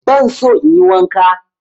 Ban so in yi wanka.